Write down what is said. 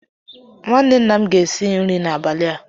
Nwanne nna m ga-esi nri n'abalị a